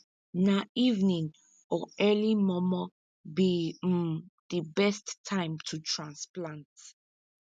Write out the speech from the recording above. na evening or early momo be um di best time to transplant